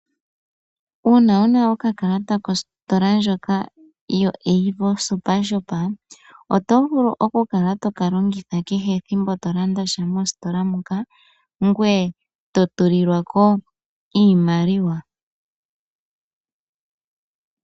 Uuna wuna okakalata kostola ndjoka yo AVO SuperShop otovulu okukala tokalongitha nkehe ethimbo tolandasha mositola moka ngweye totulilwako iimaliwa.